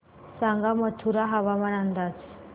सांगा मथुरा हवामान अंदाज